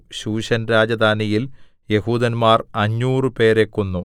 ശൂശൻ രാജധാനിയിൽ യെഹൂദന്മാർ അഞ്ഞൂറുപേരെ 500 കൊന്നു